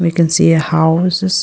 We can see a houses.